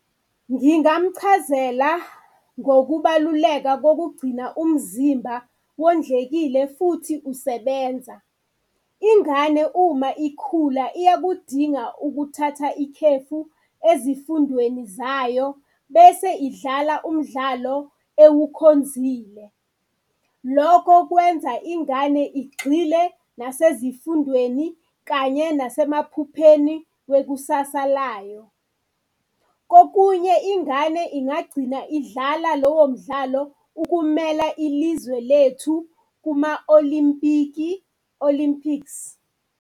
Ngingamchazela ngokubaluleka kokugcina umzimba wondlekile futhi usebenza. Ingane uma ikhula iyakudinga ukuthatha ikhefu ezifundweni zayo bese idlala umdlalo ewukhonzile. Loko kwenza ingane igxile nasezifundweni kanye nasemaphupheni wekusasa layo. Kokunye ingane ingagcina idlala lowo mdlalo ukumela ilizwe lethu kuma-olimpiki, olympics.